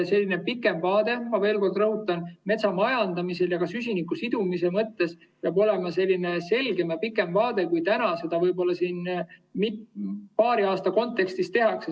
See vaade, ma veel kord rõhutan, metsamajandamisel ja ka süsiniku sidumise mõttes peab olema selgem ja pikem kui see, mida siin paari aasta kontekstis tehakse.